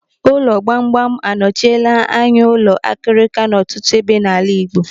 Ụlọ gbamgbam anọchile anya ụlọ akirika n'ọtụtụ ebe n'ala Igbo.